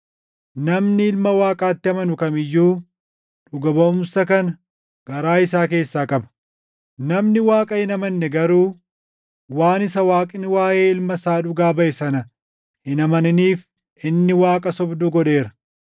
Namni Ilma Waaqaatti amanu kam iyyuu dhuga baʼumsa kana garaa isaa keessaa qaba. Namni Waaqa hin amanne garuu waan isa Waaqni waaʼee Ilma isaa dhugaa baʼe sana hin amaniniif inni Waaqa sobduu godheera.